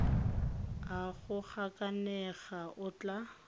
a go gakanega a tla